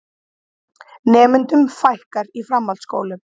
Nemendum fækkar í framhaldsskólum